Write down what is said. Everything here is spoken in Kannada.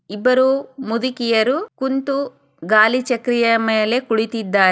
ಇಬ್ಬರೂ ಮುದುಕಿಯರೂ ಕುಂತು ಗಾಳಿ ಚಕರಿಯ ಮೇಲೆ ಕುಳಿತಿದ್ದಾ--